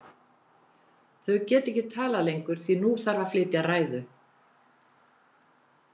Þau geta ekki talað lengur því að nú þarf að flytja ræður.